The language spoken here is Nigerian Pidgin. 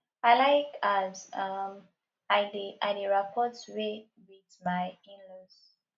i like as um i dey i dey rapport wey wit my inlaws